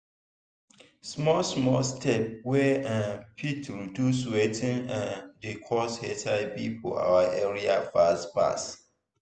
small small steps wey um fit reduce watin um dey cause hiv for our area fast fast.